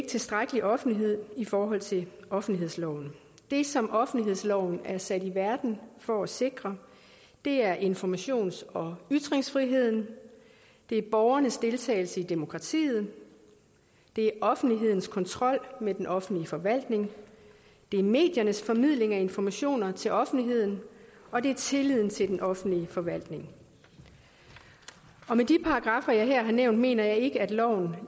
tilstrækkelig offentlighed i forhold til offentlighedsloven det som offentlighedsloven er sat i verden for at sikre er informations og ytringsfriheden det er borgernes deltagelse i demokratiet det er offentlighedens kontrol med den offentlige forvaltning det er mediernes formidling af information til offentligheden og det er tilliden til den offentlige forvaltning med de paragraffer jeg her har nævnt mener jeg ikke at loven